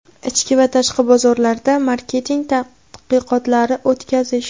ichki va tashqi bozorlarda marketing tadqiqotlari o‘tkazish;.